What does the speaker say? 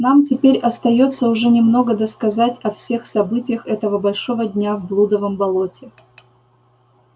нам теперь остаётся уже немного досказать о всех событиях этого большого дня в блудовом болоте